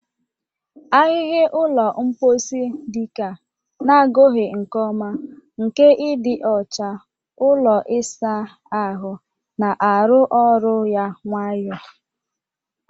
Ahịhịa ụlọ mposi, dike a na-agụghị nke ọma nke ịdị ọcha ụlọ ịsa ahụ, na-arụ ọrụ ya nwayọ.